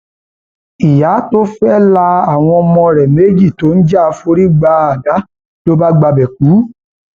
ìyá tó fẹẹ la àwọn ọmọ rẹ méjì tó ń jà forí gba àdá ló bá gbabẹ kú